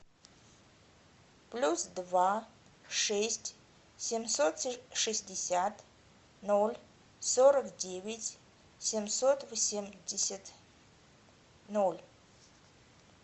плюс два шесть семьсот шестьдесят ноль сорок девять семьсот восемьдесят ноль